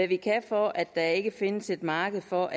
vi kan for at der ikke findes et marked for